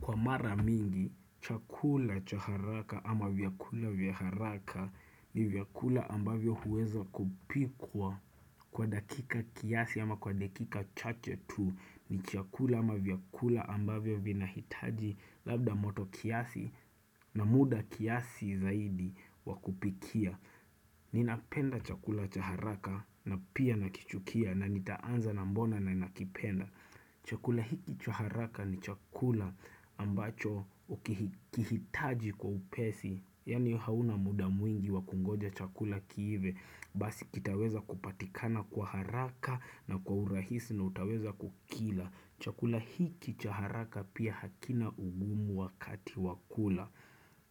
Kwa mara mingi, chakula cha haraka ama vyakula vya haraka ni vyakula ambavyo huweza kupikwa kwa dakika kiasi ama kwa dakika chache tu ni chakula ama vyakula ambavyo vina hitaji labda moto kiasi na muda kiasi zaidi wakupikia. Ninapenda chakula cha haraka na pia nakichukia na nitaanza na mbona na nakipenda. Chakula hiki cha haraka ni chakula ambacho ukihitaji kwa upesi, yani hauna muda mwingi wa kungoja chakula kiive, basi kitaweza kupatikana kwa haraka na kwa urahisi na utaweza kukila. Chakula hiki cha haraka pia hakina ugumu wakati wakula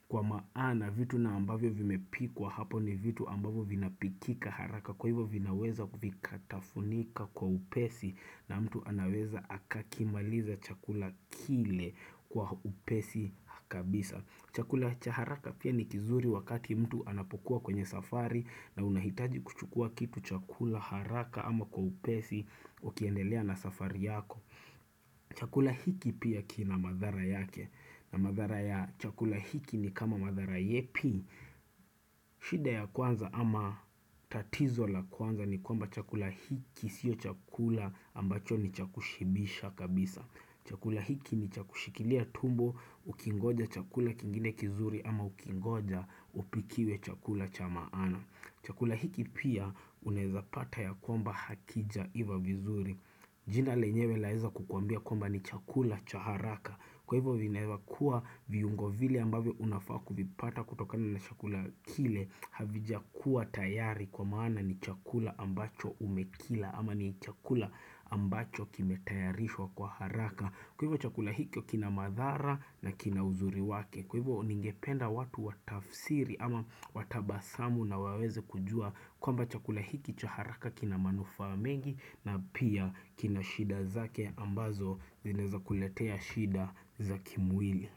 Kwa maana vitu na ambavyo vimepikwa hapo ni vitu ambavyo vinapikika haraka Kwa hivyo vinaweza kufikatafunika kwa upesi na mtu anaweza akakimaliza chakula kile kwa upesi kabisa Chakula cha haraka pia ni kizuri wakati mtu anapokuwa kwenye safari na unahitaji kuchukua kitu chakula haraka ama kwa upesi wakiendelea na safari yako Chakula hiki pia kina madhara yake na madhara ya chakula hiki ni kama madhara yepi shida ya kwanza ama tatizo la kwanza ni kwamba chakula hiki Sio chakula ambacho ni cha kushibisha kabisa Chakula hiki ni cha kushikilia tumbo Ukingoja chakula kingine kizuri ama ukingoja upikiwe chakula cha maana Chakula hiki pia unaweza pata ya kwamba hakijaiva vizuri jina lenyewe laeza kukwambia kwamba ni chakula cha haraka. Kwa hivyo vinaeva kuwa viungo vile ambavyo unafaa kuvipata kutokani na chakula kile. Havijakua tayari kwa maana ni chakula ambacho umekila ama ni chakula ambacho kimetayarishwa kwa haraka. Kwa hivyo chakula hikyo kina madhara na kina uzuri wake. Kwa hivyo ningependa watu watafsiri ama watabasamu na waweze kujua kwamba chakula hiki cha haraka kina manufaa mengi na pia kina shida zake ambazo zinaweza kuletea shida za kimwili.